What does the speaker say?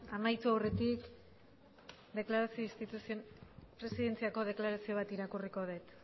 amaitu aurretik presidentziako deklarazio bat irakurriko dut